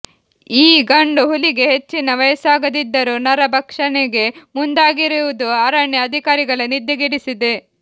ಈ ಗಂಡು ಹುಲಿಗೆ ಹೆಚ್ಚಿನ ವಯಸ್ಸಾಗದಿದ್ದರೂ ನರ ಭಕ್ಷಣೆಗೆ ಮುಂದಾಗಿರುವುದು ಅರಣ್ಯ ಅಧಿಕಾರಿಗಳ ನಿದ್ದೆಗೆಡಿಸಿದೆ